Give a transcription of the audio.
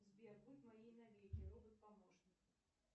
сбер будь моей навеки робот помощник